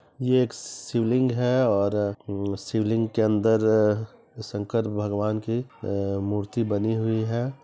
यह एक शिवलिंग है और शिवलिंग के अंदर शंकर भगवान की अा मूर्ति बनी हुई है ।